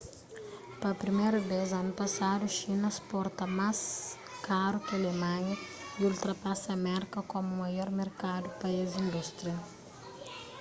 pa priméru bês anu pasadu xina sporta más karu ki alemanha y ultrapasa merka komu maior merkadu pa es indústria